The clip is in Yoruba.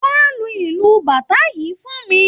Wá lu ìlù Bàtá yìí fún mi!